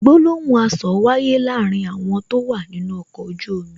Gbólóhùn asọ̀ wáyé láàárín àwọn tó wà nínú ọkọ̀ ojú omi